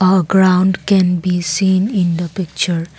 a ground can be seen in the picture.